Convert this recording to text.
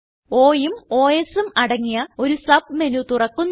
Oഉം Osഉം അടങ്ങിയ ഒരു സബ് മെനു തുറക്കുന്നു